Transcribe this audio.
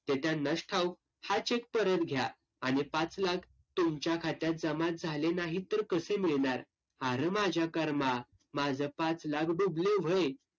ते त्यांनाच ठाऊक. हा cheque परत घ्या. आणि पाच लाख तुमच्या खात्यात जमा झाले नाहीत तर कसे मिळणार? आरं माझ्या कर्मा. माझं पाच लाख डुबले व्हय.